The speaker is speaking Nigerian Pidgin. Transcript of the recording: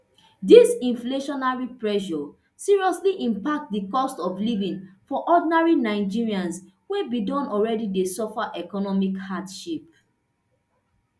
dis inflationary pressure seriously impact di cost of living for ordinary nigerians wey bin don already dey suffer economic hardship